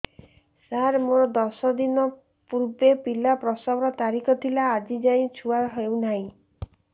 ସାର ମୋର ଦଶ ଦିନ ପୂର୍ବ ପିଲା ପ୍ରସଵ ର ତାରିଖ ଥିଲା ଆଜି ଯାଇଁ ପିଲା ହଉ ନାହିଁ